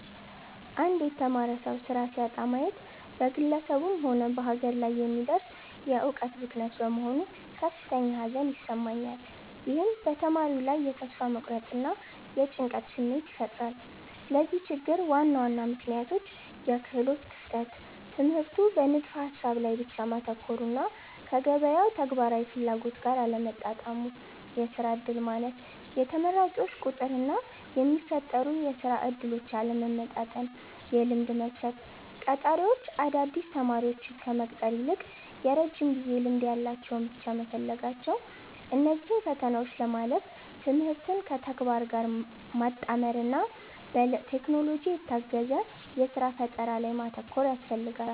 አንድ የተማረ ሰው ሥራ ሲያጣ ማየት በግለሰቡም ሆነ በሀገር ላይ የሚደርስ የዕውቀት ብክነት በመሆኑ ከፍተኛ ሐዘን ይሰማኛል። ይህም በተማሪው ላይ የተስፋ መቁረጥና የጭንቀት ስሜት ይፈጥራል። ለዚህ ችግር ዋና ዋና ምክንያቶች፦ -የክህሎት ክፍተት፦ ትምህርቱ በንድፈ-ሐሳብ ላይ ብቻ ማተኮሩና ከገበያው ተግባራዊ ፍላጎት ጋር አለመጣጣሙ። -የሥራ ዕድል ማነስ፦ የተመራቂዎች ቁጥርና የሚፈጠሩ የሥራ ዕድሎች አለመመጣጠን። -የልምድ መስፈርት፦ ቀጣሪዎች አዳዲስ ተማሪዎችን ከመቅጠር ይልቅ የረጅም ጊዜ ልምድ ያላቸውን ብቻ መፈለጋቸው። እነዚህን ፈተናዎች ለማለፍ ትምህርትን ከተግባር ጋር ማጣመርና በቴክኖሎጂ የታገዘ የሥራ ፈጠራ ላይ ማተኮር ያስፈልጋል።